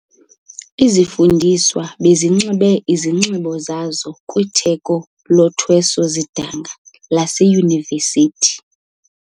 Izifundiswa bezinxibe isinxibo sazo kwitheko lothweso-zidanga laseyunivesithi.